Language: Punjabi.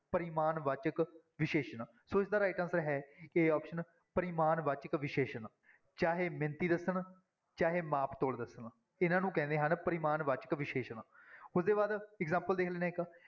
ਪਰਿਮਾਣ ਵਾਚਕ ਵਿਸ਼ੇਸ਼ਣ ਸੋ ਇਸਦਾ right answer ਹੈ a option ਪਰਿਮਾਣਵਾਚਕ ਵਿਸ਼ੇਸ਼ਣ, ਚਾਹੇ ਮਿਣਤੀ ਦੱਸਣ, ਚਾਹੇ ਮਾਪ ਤੋਲ ਦੱਸਣ, ਇਹਨਾਂ ਨੂੰ ਕਹਿੰਦੇ ਹਨ ਪਰਿਮਾਣ ਵਾਚਕ ਵਿਸ਼ੇਸ਼ਣ, ਉਹਦੇ ਬਾਅਦ example ਦੇਖ ਲੈਂਦੇ ਹਾਂ ਇੱਕ।